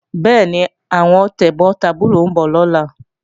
Bẹ́ẹ̀ni, àwọn tẹ̀gbọ́n tàbúrò ń bọ̀ lọ́la